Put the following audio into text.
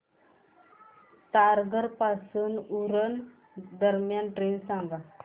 तारघर पासून उरण दरम्यान ट्रेन सांगा